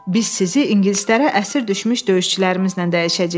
Biz sizi ingilislərə əsir düşmüş döyüşçülərimizlə dəyişəcəyik.